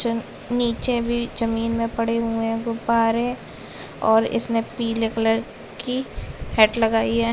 चे नीचे भी जमीन में पड़े हुए है गुब्बारे और इसने पीले कलर की हैट लगाई है।